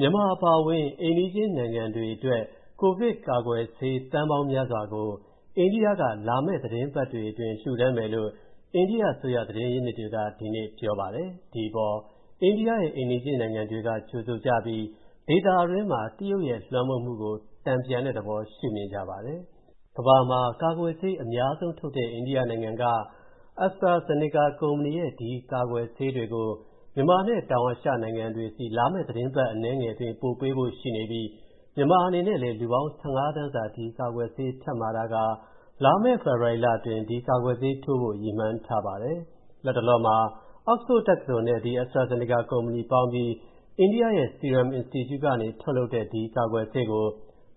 မြန်မာအပါအဝင် အိမ်နီးချင်းနိုင်ငံတွေအတွက် ကိုဗစ်ကာကွယ်ဆေး သန်းပေါင်းများစွာကို အိန္ဒိယက လာမယ့်သီတင်းပတ်တွေအတွင်း လှူဒါန်းမယ်လို့ အိန္ဒိယအစိုးရ သတင်းရင်းမြစ်တွေက ဒီကနေ့ပြောပါတယ်။ ဒီအပေါ် အိန္ဒိယရဲ့ အိမ်နီးချင်းနိုင်ငံတွေက ကြိုဆိုကြပြီး ဒေသတွင်းမှာ တရုတ်ရဲ့လွှမ်းမိုးမှုကို တန်ပြန်တဲ့သဘော ရှုမြင်ကြပါတယ်။ ကမ္ဘာမှာ ကာကွယ်ဆေးအများဆုံး ထုတ်တဲ့ အိန္ဒိယနိုင်ငံက AstraZeneca ကုမ္ပဏီရဲ့ ကာကွယ်ဆေးသန်းပေါင်းများစွာကို မြန်မာနဲ့ တောင်အာရှနိုင်ငံတွေဆီ လာမယ့်သီတင်းပတ် အနည်းငယ်အတွင်း ပို့ပေးဖို့ ရှိနေပြီး မြန်မာအနေနဲ့လည်း လူပေါင်း ၁၅ သန်းစာ ဒီကာကွယ်ဆေးထပ်မှာထားကာ လာမယ့်ဖေဖော်ဝါရီလအတွင်း ဒီကာကွယ်ဆေးထိုးပေးဖို့ ရည်မှန်းထားပါတယ်။ လတ်တလောမှာ Oxford တက္ကသိုလ်နဲ့ AstraZeneca ကုမ္ပဏီပေါင်းပြီး အိန္ဒိယရဲ့ Serum Institute ကနေ ထုတ်လုပ်တဲ့ ဒီကာကွယ်ဆေးကို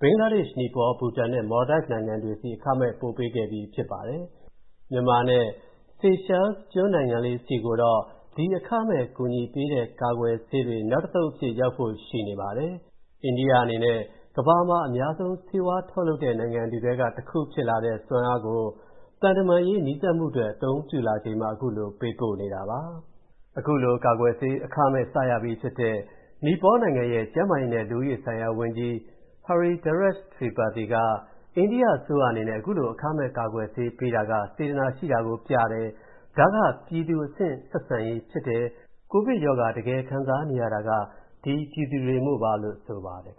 ဘင်္ဂလားဒေ့ရှ်၊ နီပေါ၊ ဘူတန်နဲ့ မော်လဒိုက်နိုင်ငံတွေဆီ အခမဲ့ ပို့ပေးပြီးခဲ့ပြီးဖြစ်ပါတယ်။ မြန်မာနဲ့ Seychelles နိုင်ငံတွေကိုတော့ ဒီအခမဲ့ကူညီပေးတဲ့ ကာကွယ်ဆေးတွေ နောက်တသုတ်အဖြစ် ရောက်ဖို့ရှိနေပါတယ်။ အိန္ဒိယအနေနဲ့ ကမ္ဘာမှာ အများဆုံး ဆေးဝါးထုတ်လုပ်နိုင်တဲ့နိုင်ငံတွေထဲက တစ်ခုဖြစ်လာတဲ့ စွမ်းအားကို သံတမန်ရေး နီးစပ်မှုအတွက် အသုံးပြုလာချိန် ခုလိုပို့ပေးနေတာပါ။ ကာကွယ်ဆေး အခမဲ့ စရပြီးဖြစ်တဲ့ နီပေါနိုင်ငံရဲ့ ကျန်းမာရေးနဲ့ လူဦးရေဆိုင်ရာ ဝန်ကြီး Hridayesh Tripathi က အန္ဒိယအစိုးရအနေနဲ့ အခုလို အခမဲ့ ကာကွယ်ဆေးပေးတာက စေတနာရှိတာကိုပြတယ်။ ဒါက ပြည်သူအဆင့် ဆက်ဆံရေးဖြစ်တယ်။ ကိုဗစ်ရောဂါတကယ်ခံစားနေရတာက ဒီပြည်သူတွေမို့ပါလို့ ဆိုပါတယ်